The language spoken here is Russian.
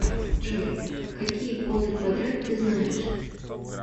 джой какие полный квадрат ты знаешь